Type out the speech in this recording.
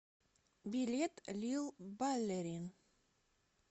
билет лил баллерин